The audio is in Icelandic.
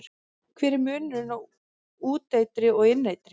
Hver er munurinn á úteitri og inneitri?